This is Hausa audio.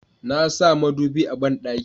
na sa madubi a banɗaki